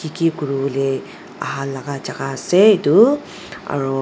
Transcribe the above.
Kekure bole aha laka jaka ase etu aro.